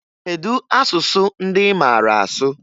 Kedu asụsụ ndị ị maara asụ?